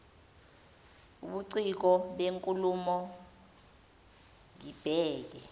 ubuciko benkulumo ngibheke